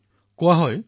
আমাৰ ইয়াত কোৱা হয়